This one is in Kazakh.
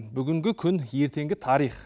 бүгінгі күн ертеңгі тарих